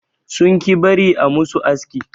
Sun ƙi bari a musu aski.